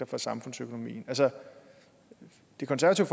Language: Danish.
for samfundsøkonomien altså det konservative